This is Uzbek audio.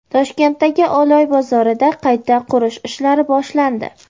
Toshkentdagi Oloy bozorida qayta qurish ishlari boshlandi.